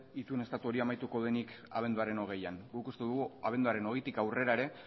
itun estatu hori amaituko denik abenduaren hogeian guk uste dugu abenduaren hogeitik aurrera ere